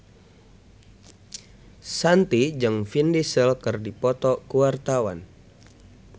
Shanti jeung Vin Diesel keur dipoto ku wartawan